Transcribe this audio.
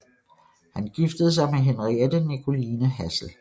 Han giftede sig med Henriette Nicoline Hassel